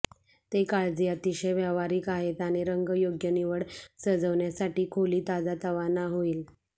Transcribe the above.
ते काळजी अतिशय व्यावहारिक आहेत आणि रंग योग्य निवड सजवण्यासाठी खोली ताजातवाना होईल